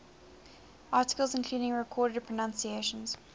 articles including recorded pronunciations